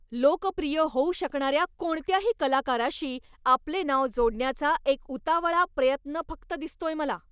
लोकप्रिय होऊ शकणाऱ्या कोणत्याही कलाकाराशी आपले नाव जोडण्याचा एक उतावळा प्रयत्न फक्त दिसतोय मला.